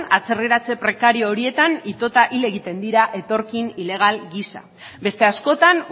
atzerriratze prekario horietan itota hil egiten dira etorkin ilegal gisa beste askotan